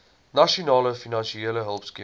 nasionale finansiële hulpskema